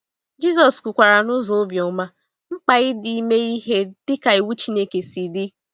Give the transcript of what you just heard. Jisọs kwukwara n’ụzọ obiọma mkpa ịdị ime ihe dịka iwu Chineke si dị.